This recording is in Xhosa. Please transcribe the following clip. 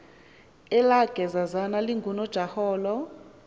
elaa gezazana lingunojaholo